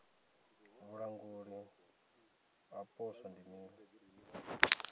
vhulanguli ha poswo ndi mini